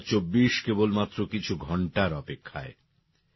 ২০২৪ কেবলমাত্র কিছু ঘন্টার অপেক্ষায়